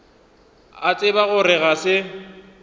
a tseba gore ga se